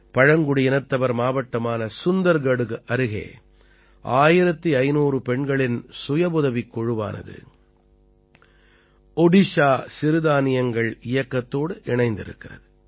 பழங்குடியினத்தவர் மாவட்டமான சுந்தர்கட்டுக்கு அருகே 1500 பெண்களின் சுயவுதவிக் குழுவானது ஓடிஷா சிறுதானியங்கள் இயக்கத்தோடு இணைந்திருக்கிறது